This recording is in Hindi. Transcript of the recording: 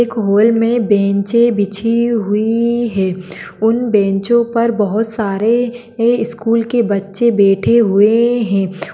एक हॉल मे बेंचे बिछी हुई है उन बेंचों पर बहुत सारे स्कूल के बच्चे बैठे हुए है।